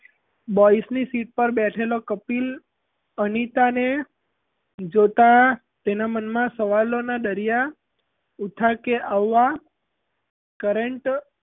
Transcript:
boys ની seat ઉપર બેઠેલો કપિલ અનિતા ને જોતાં તેના મનમાં સવાલોનાં દરિયા ઊઠાં કે આવવાં current